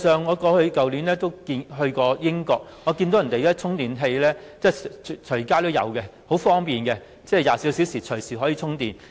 我去年曾前往英國，當地的充電設施隨處也有，十分方便，可以24小時隨時充電。